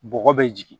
Bɔgɔ bɛ jigin